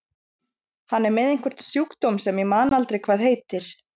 Hann er með einhvern sjúkdóm sem ég man aldrei hvað heitir.